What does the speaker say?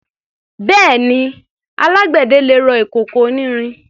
Bẹ́ẹ̀ni, alágbẹ̀dẹ lè rọ ìkòkò onírin.